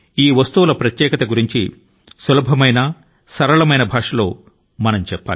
వాటి ప్రత్యేకత ను గురించి ప్రపంచ ప్రజల కు తేలికైన భాష లో మనం చెప్పగలగాలి